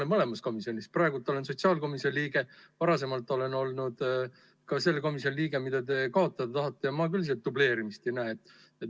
Mina olen mõlemas komisjonis olnud, praegu olen sotsiaalkomisjoni liige, varasemalt olen olnud ka selle komisjoni liige, mille te kaotada tahate, ja ma küll seal dubleerimist ei näe.